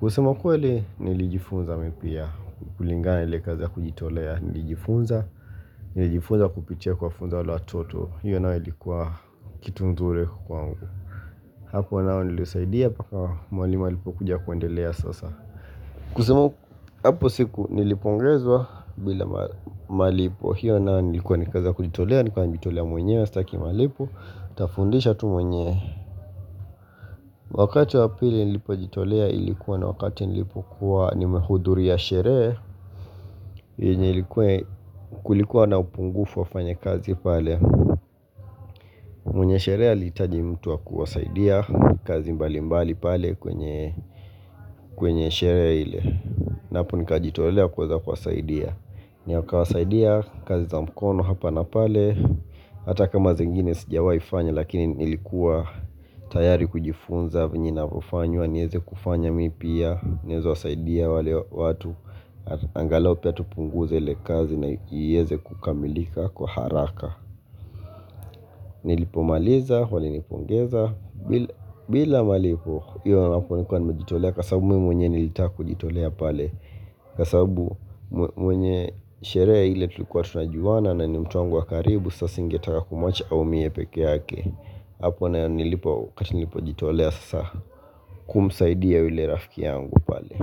kusema ukweli nilijifunza mi pia kulingana na ile kazi ya kujitolea nilijifunza Nilijifunza kupitia kuwafunza wale watoto hiyo nayo ilikuwa kitu nzuri kwa mgu Hapo nao nilisaidia paka mwalimu alipo kuja kuendelea sasa kusema hapo siku nilipongezwa bila malipo hiyo na nilikuwa ni kazi ya kujitolea nilikuwa nilikuwa nilikuwa mwenyewa staki mwenyewa Tafundisha tu mwenyewa Wakati wa pili nilipo jitolea ilikuwa na wakati nilipo kuwa nimehudhuria sherehe yenye ilikuwa kulikuwa na upungufu wafanyakazi pale mwenye sherehe aliitaji mtu wakuwasaidia kazi mbalimbali pale kwenye sherehe ile Napo nika jitolea kuweza kuwasaidia Nika wasaidia kazi za mkono hapa na pale hata kama zingine sijawai fanya lakini niilikuwa tayari kujifunza vinye inavofanywa nieze kufanya mi pia nieze wasaidia wale watu angalau pia tupunguze ile kazi na iyeze kukamilika kwa haraka nilipomaliza walinipongeza bila malipo iyo hapo nilikuwa nimejitolea kwasabbau mwenyewe nilitaka kujitolea pale kasababu mwenye sherehe ile tulikuwa tunajuwana na ni mtu wangu wa karibu sasa singetaka kumwacha aumie pekee yake hapo na nilipojitolea sasa kumsaidia yule rafkia yangu pale.